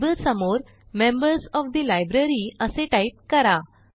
label समोर members of the library असे type करा